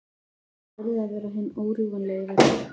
Það yrði að vera hinn órjúfanlegi veggur.